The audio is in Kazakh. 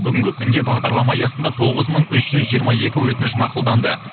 бүгінгі күнде бағдарлама аясында тоғыз мың үш жүз жиырма екі өтініш мақұлданды